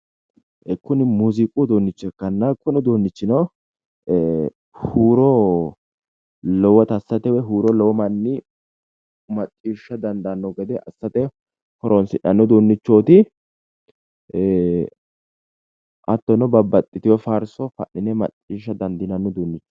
Kini muziiqu uduuncho ikkanna huuro lowotta assate hattono babbaxitino faarso fa'nine macciishsha dandiinanni